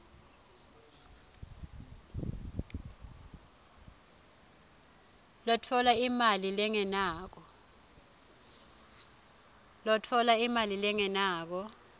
lotfola imali lengenako